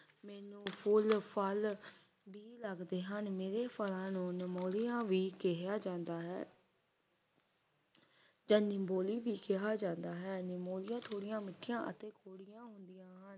ਮੈਨੂੰ ਫੁੱਲ ਫੱਲ ਬਿ ਲੱਗਦੇ ਹਨ ਮੇਰੇ ਫੱਲਾਂ ਨੂੰ ਨਿਮੋਲੀਆ ਵੀ ਕਿਹਾ ਜਾਂਦਾ ਹੈ ਜਾਂ ਨਿੰਮ ਬੋਲੀ ਵੀ ਕਿਹਾ ਜਾਂਦਾ ਹੈ ਨਿੰਮੋਲੀਆਂ ਥੋੜੀਆਂ ਮਿਠੀਆ ਅਤੇ ਕੌੜੀਆਂ ਹੁੰਦਿਆਂ ਹਨ